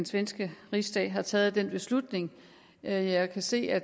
svenske rigsdag har taget den beslutning jeg kan se at